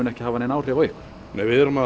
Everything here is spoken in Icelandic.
ekki hafa nein áhrif á ykkur nei við erum að